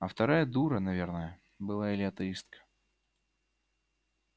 а вторая дура наверное была или атеистка